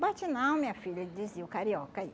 Bate não, minha filha, dizia o carioca aí.